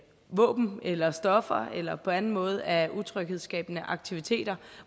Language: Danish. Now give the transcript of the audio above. våben eller stoffer eller på anden måde er utryghedsskabende aktiviteter